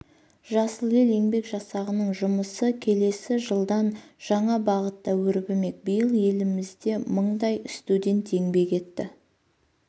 жасыл ел еңбек жасағының жұмысы келесі жылдан жаңа бағытта өрбімек биыл елімізде мыңдай студент еңбек етті